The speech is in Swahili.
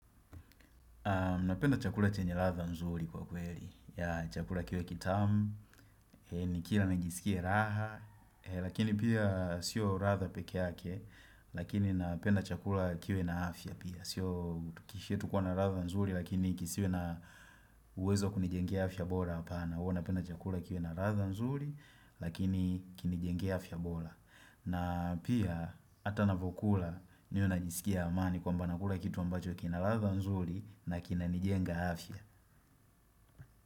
Napenda chakula chenye ladha nzuri kwa kweli. Chakula kiwe kitamu, nikila nijisikia raha, lakini pia sio ladha pekeake, lakini napenda chakula kiwe na afya pia. Sio kishietu kuwa na ratha nzuri lakini kisiwe na uwezo kunijengea afya bora apana Huwa napenda chakula kiwe na ratha nzuri lakini kinijenge afya bora na pia ata na vokula niwe najisikia amani kwamba nakula kitu ambacho kina latha nzuri na kina nijenga afya.